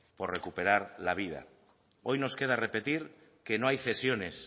por recuperar la vida hoy nos queda repetir que no hay cesiones